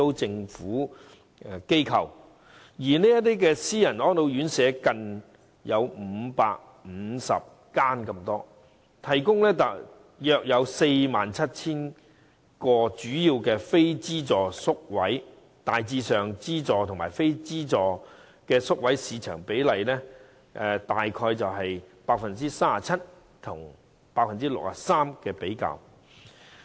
至於私營院舍則有近550間，提供約 47,000 個非資助宿位，資助和非資助宿位的市場比例大致上為 37% 與 63%。